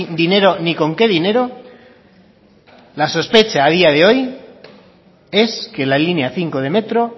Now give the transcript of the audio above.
dinero ni con qué dinero la sospecha a día de hoy es que la línea cinco de metro